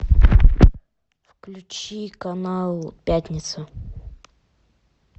включи канал пятница